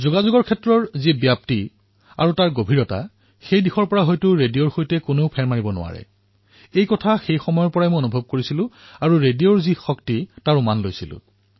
যোগাযোগৰ প্ৰভাৱ আৰু তাৰ গভীৰতা বোধহয় ৰেডিঅৰ সমকক্ষ আন কোনো হব নোৱাৰে আৰু সেই সময়ৰ পৰাই মোৰ মন ভৰি পৰিছিল আৰু তাৰ শক্তি মই অনুধাৱন কৰিব পাৰিছিলো